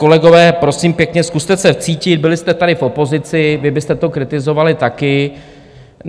Kolegové, prosím pěkně, zkuste se vcítit, byli jste tady v opozici, vy byste to kritizovali taky.